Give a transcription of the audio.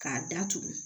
K'a datugu